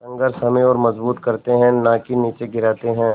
संघर्ष हमें और मजबूत करते हैं नाकि निचे गिराते हैं